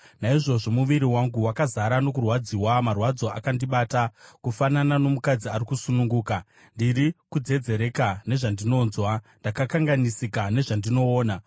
Naizvozvo muviri wangu wakazara nokurwadziwa; marwadzo akandibata, kufanana nomukadzi ari kusununguka; ndiri kudzedzereka nezvandinonzwa, ndakanganisika nezvandinoona.